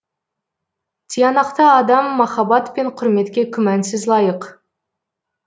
тиянақты адам махаббат пен құрметке күмәнсіз лайық